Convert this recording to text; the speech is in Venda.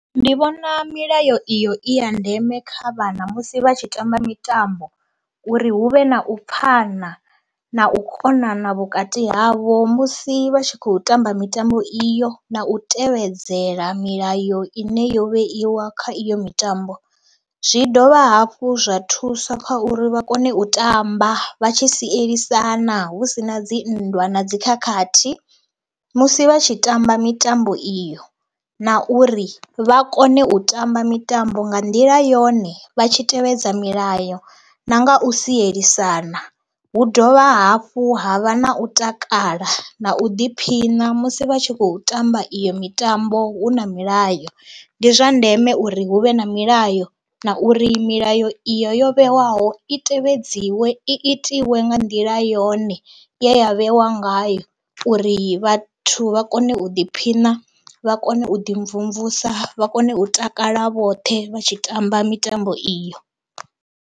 Ndi vhona milayo iyo i ya ndeme kha vhana musi vha tshi tamba mitambo uri hu vhe na u pfhana na u konana vhukati havho musi vha tshi khou tamba mitambo iyo. Na u tevhedzela milayo ine yo vheiwa kha iyo mitambo, zwi dovha hafhu zwa thusa kha uri vha kone u tamba vha tshi sielisana hu si na dzi nndwa na dzi khakhathi musi vha tshi tamba mitambo iyo na uri vha kone u tamba mitambo nga nḓila yone vha tshi tevhedza milayo na nga u sielisana. Hu dovha hafhu ha vha na u takala na u ḓiphina musi vha tshi khou tamba iyo mitambo hu na milayo. Ndi zwa ndeme uri hu vhe na milayo na uri milayo iyo yo vhewaho i tevhedziwe i itiwa nga nḓila yone, ya vhewa ngayo uri vhathu vha kone u ḓiphina, vha kone u ḓimvumvusa vha kone u takala vhoṱhe vha tshi tamba mitambo iyo.